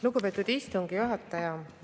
Lugupeetud istungi juhataja!